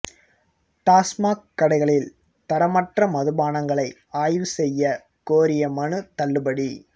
டாஸ்மாக் கடைகளில் தரமற்ற மதுபானங்களை ஆய்வு செய்ய கோரிய மனு தள்ளுபடி